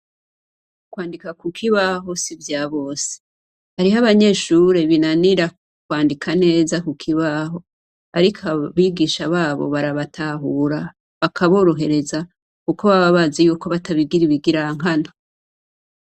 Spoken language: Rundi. Kwandika kukibaho sivyabose hariho abanyeshure binanira kwandika neza kukibaho ariko abigisha babo barabatahura bakaborohereza kuko baba bazi kobatabigira ibigirankana